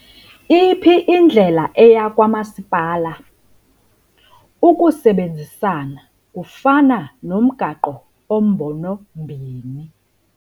Iphi indlela eya kwamasipala? Ukusebenzisana kufana nomgaqo ombonombini